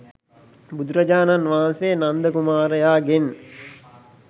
බුදුරජාණන් වහන්සේ නන්ද කුමාරයාගෙන්